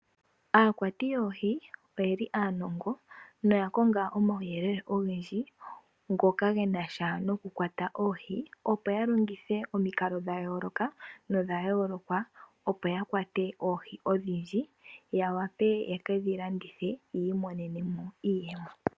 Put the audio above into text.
Aakwati yoohi oyeli aanongo noya konga omawuyelele ogendji ngoka genasha nokukwata oohi, opo yalongithe omikalo dhayooloka nodhayooloka opo yakwate oohi odhindji yavule yekedhi landithe yamonemo iiyemo.